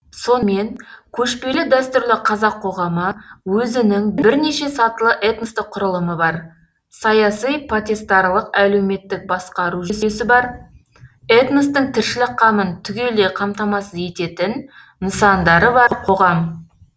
сонымен көшпелі дәстүрлі қазақ қоғамы өзінің бірнеше сатылы этностық құрылымы бар саяси потестарлық әлеуметтік басқару жүйесі бар этностың тіршілік қамын түгелдей қамтамасыз ететін нысандары бар қоғам